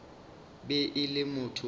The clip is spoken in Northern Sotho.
be e le motho wa